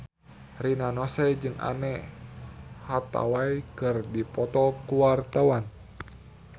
Rina Nose jeung Anne Hathaway keur dipoto ku wartawan